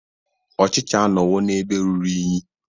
Ochicha anọwo n'ebe ruru unyi.